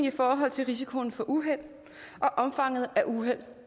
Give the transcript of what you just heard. i forhold til risikoen for uheld og omfanget af uheld